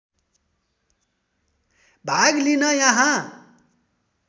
भाग लिन यहाँ